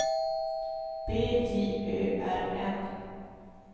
B J Ö R N